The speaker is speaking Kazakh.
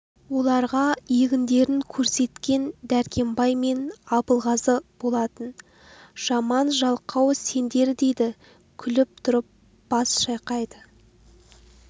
оларға егіндерін көрсеткен дәркембай мен абылғазы болатын жаман жалқау сендер дейді күліп тұрып бас шайқайды